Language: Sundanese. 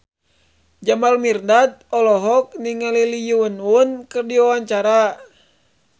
Jamal Mirdad olohok ningali Lee Yo Won keur diwawancara